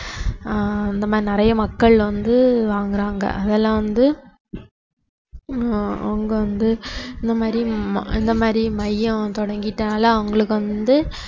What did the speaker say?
ஆஹ் இந்த மாதிரி நிறைய மக்கள் வந்து வாங்கறாங்க அதெல்லாம் வந்து ஆஹ் அவங்க வந்து இந்த மாதிரி ம~ இந்த மாதிரி மையம் தொடங்கிட்டதனால அவங்களுக்கு வந்து